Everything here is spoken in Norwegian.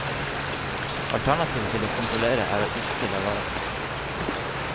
Alternativet til å kontrollere er ikke å la være.